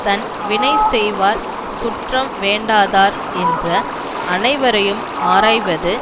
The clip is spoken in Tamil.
தம் வினை செய்வார் சுற்றம் வேண்டாதார் என்ற அனைவரையும் ஆராய்வது